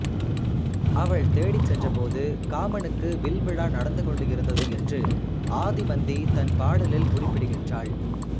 அவள் தேடிச் சென்றபோது காமனுக்கு வில்விழா நடந்து கொண்டிருந்தது என்று ஆதிமந்தி தன் பாடலில் குறிப்பிடுகின்றாள்